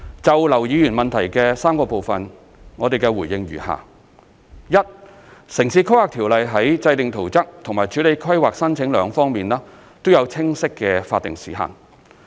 就劉議員主體質詢的3個部分，我的答覆如下：一《條例》在制訂圖則和處理規劃申請兩方面，均有清晰的法定時限。